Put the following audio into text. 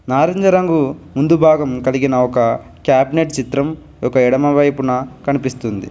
నారింజ రంగు ముందు భాగం కలిగిన ఒక క్యాబినెట్ చిత్రం ఒక ఎడమవైపున కనిపిస్తుంది.